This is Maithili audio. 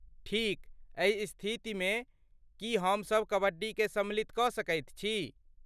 ठीक, एहि स्थितिमे, की हमसब कबड्डीकेँ सम्मिलित कऽ सकैत छी?